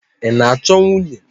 Ị na-achọ nwunye?